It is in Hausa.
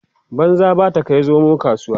banza ba ta Kai zomo kasuwa